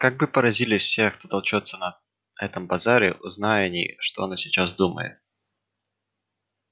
как бы поразились все кто толчётся на этом базаре узнай они что она сейчас думает